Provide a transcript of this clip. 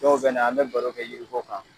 Dɔw bɛ na, an be baro kɛ yiri ko kan.